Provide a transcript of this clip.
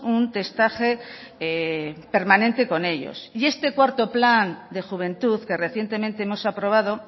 un testaje permanente con ellos y este cuarto plan de juventud que recientemente hemos aprobado